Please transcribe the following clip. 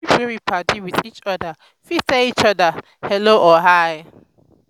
pipo wey be padi with each oda fit tell each oda hello or hi